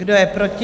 Kdo je proti?